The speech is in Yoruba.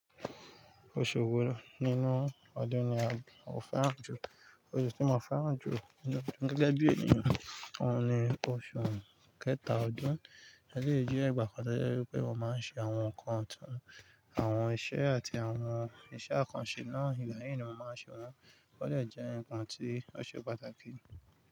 Oṣù wo nínú ọdún ni ò fẹ́ràn jùlọ? Oṣù tí mo fẹ́ràn jù gege bi eniyan oun ní oṣù kẹta ọdún eleyi je igbakan kan tọ́ jẹ́ wípé mo máa ń ṣe àwọn nǹkan ọ̀to, àwọn iṣẹ́ àti àwọn iṣẹ́ àkànṣe náà igba yii ni mo máa ń ṣe wọ́n, tó ba de jẹ́ nǹkan tí ó ṣe pàtàkì.